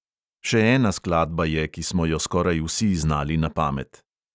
Še ena skladba je, ki smo jo skoraj vsi znali na pamet.